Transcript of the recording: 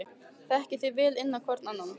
Þekkið þið vel inn á hvorn annan?